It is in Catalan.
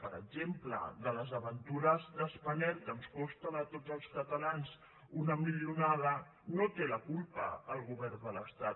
per exemple de les aventures de spanair que ens costen a tots els catalans una milionada no en té la culpa el govern de l’estat